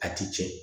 A ti tiɲɛ